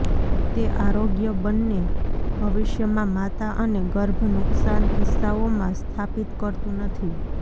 તે આરોગ્ય બંને ભવિષ્યમાં માતા અને ગર્ભ નુકસાન કિસ્સાઓમાં સ્થાપિત કરતું નથી